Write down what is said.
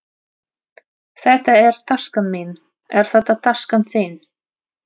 Þetta er taskan mín. Er þetta taskan þín?